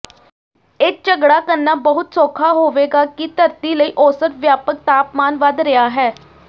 ਇਹ ਝਗੜਾ ਕਰਨਾ ਬਹੁਤ ਸੌਖਾ ਹੋਵੇਗਾ ਕਿ ਧਰਤੀ ਲਈ ਔਸਤ ਵਿਆਪਕ ਤਾਪਮਾਨ ਵਧ ਰਿਹਾ ਹੈ